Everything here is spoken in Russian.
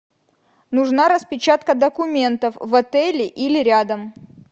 нужна распечатка документов в отеле или рядом